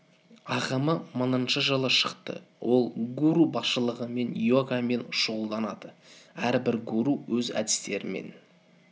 ағымы мыңыншы жылы шықты ол гуру басшылығымен йогамен шұғылданады әрбір гуру өз әдістерімен